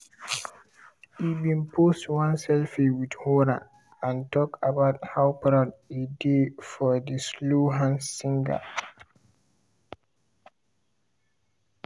e bin post one selfie with horan and talk about how proud e dey of di slow hands singer.